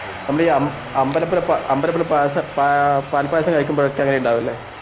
നമ്മൾ ഈ അംബഅമ്പലത്തിലെ പാൽപായപാൽപായസം കഴിക്കുമ്പോലെ ഉണ്ടാവും അല്ല?